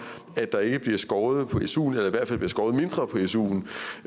at der ikke bliver skåret i suen eller i hvert fald bliver skåret mindre i suen